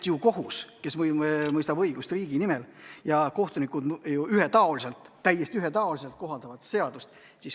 Kohus mõistab õigust riigi nimel ja kohtunikud peaksid täiesti ühetaoliselt seadusi kohaldama.